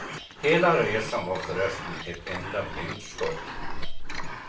Hela resan var förresten ett enda blindskott.